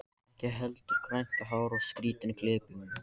Ekki heldur grænt hár og skrýtin klipping.